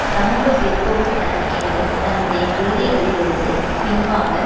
சமூக பிற்போக்கு தனம் என்று தன்னுடைய கொள்கைகளில் இருந்து பின்வாங்க